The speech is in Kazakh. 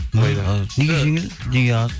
неге жеңіл неге аз